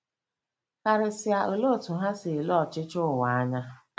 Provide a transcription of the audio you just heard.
Karịsịa, olee otú ha si ele ọchịchị ụwa anya? '